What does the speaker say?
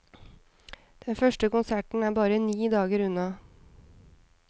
Den første konserten er bare ni dager unna.